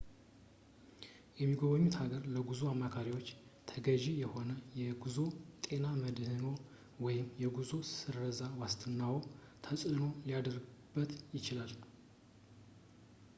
የሚጎበኙት ሀገር ለጉዞ አማካሪዎች ተገዢ ከሆነ የጉዞ ጤና መድህንዎ ወይም የጉዞዎ ስረዛ ዋስትናዎ ተጽእኖ ሊያድርበት ይችላል